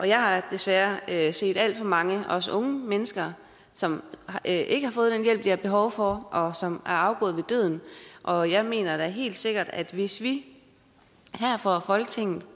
jeg har desværre set alt for mange og også unge mennesker som ikke har fået den hjælp de havde behov for og som er afgået ved døden og jeg mener da helt sikkert at hvis vi her fra folketingets